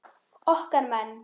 Okkar menn